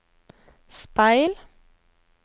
speil